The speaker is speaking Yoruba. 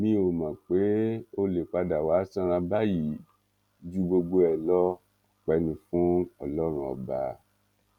mi ò mọ pé ó lè padà wàá sanra báyìí ju gbogbo ẹ lọ ọpẹ ní fún ọlọrun ọba